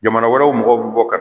Jamana wɛrɛw mɔgɔw bi bɔ ka